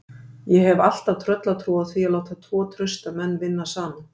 Ég hef alltaf tröllatrú á því að láta tvo trausta menn vinna saman.